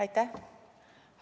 Aitäh!